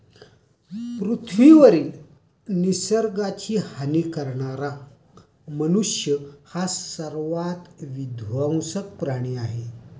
पृथ्वीवरील निसर्गाची हानी करणारा मनुष्य हा सर्वात विध्वंसक प्राणी आहे.